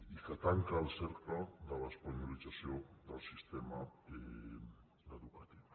i que tanca el cercle de l’espanyolització del sistema educatiu